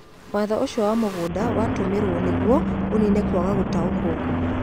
Watho ũcio wa mĩgũnda watũmirũo nĩguo ũniine kwaga gũtaũkĩrũo kũu.